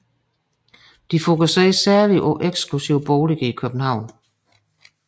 De fokuserede særligt på eksklusive boliger i København